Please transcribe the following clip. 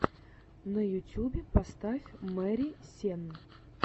на ютюбе поставь мэри сенн